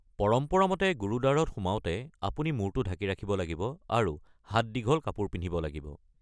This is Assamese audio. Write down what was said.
পৰম্পৰা মতে গুৰুদ্বাৰত সোমাওঁতে আপুনি মূৰটো ঢাকি ৰাখিব লাগিব আৰু হাত দীঘল কাপোৰ পিন্ধিব লাগিব।